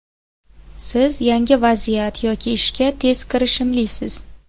Siz yangi vaziyat yoki ishga tez kirishimlisiz.